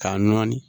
K'a nɔɔni